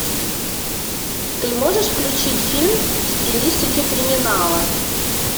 ты можешь включить фильм в стилистике криминала